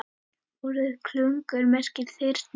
Orðið klungur merkir þyrnir.